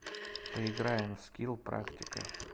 поиграем в скилл практика